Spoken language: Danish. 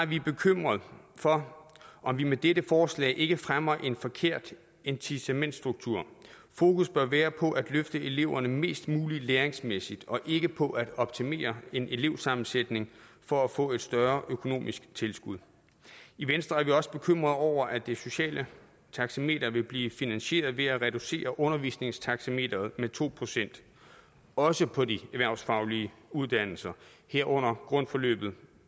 vi bekymrede for om vi med dette forslag ikke fremmer en forkert incitamentsstruktur fokus bør være på at løfte eleverne mest muligt læringsmæssigt og ikke på at optimere en elevsammensætning for at få et større økonomisk tilskud i venstre er vi også bekymrede over at det sociale taxameter vil blive finansieret ved at reducere undervisningstaxameteret med to procent også på de erhvervsfaglige uddannelser herunder grundforløbet